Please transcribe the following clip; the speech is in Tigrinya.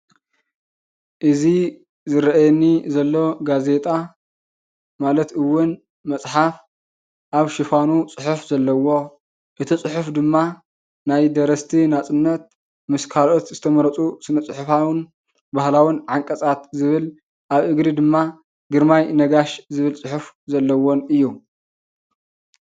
እዚ ዝረኣየኒ ዘሎ ጋዜጣ ማለት እውን መፅሓፍ ኣብ ሽፋኑ ፅሑፍ ዘለዎ እቲ ፅሑፍ ድማ ናይ ደረሰቲ ናፅነት ምስ ካልኦት ዝተመረፁ ስነ- ፅሕፋውን ባህላውን ዓንቀፃት ዝብል ኣብ እግሪ ድማ ግርማይ ነጋሽ ዝብል ፅሑፍ ዘለዎን እዩ።